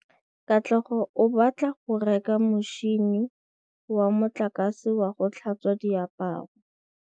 Katlego o batla go reka motšhine wa motlakase wa go tlhatswa diaparo.